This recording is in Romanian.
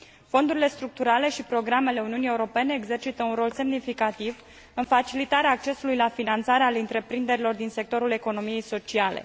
Fondurile structurale și programele Uniunii Europene exercită un rol semnificativ în facilitarea accesului la finanțare al întreprinderilor din sectorul economiei sociale.